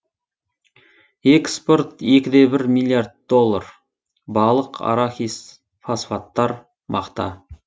экспорт екі де бір миллиард доллар балық арахис фосфаттар мақта